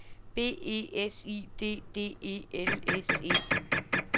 B E S I D D E L S E